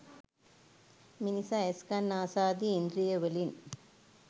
මිනිසා ඇස්, කන් නාසාදී ඉන්ද්‍රියවලින්